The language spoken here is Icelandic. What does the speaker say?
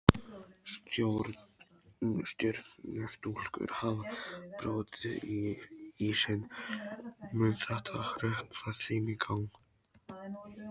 Stjörnustúlkur hafa brotið ísinn, mun þetta hrökkva þeim í gang?